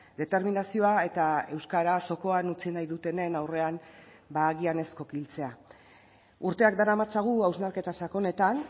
determinazioa eta euskara zokoan utzi nahi dutenen aurrean agian ez kokiltzea urteak daramatzagu hausnarketa sakonetan